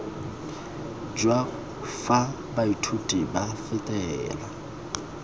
jwa fa baithuti ba fetela